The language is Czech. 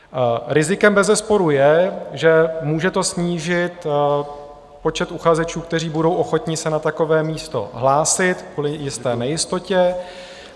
Rizikem bezesporu je, že může to snížit počet uchazečů, kteří budou ochotni se na takové místo hlásit kvůli jisté nejistotě.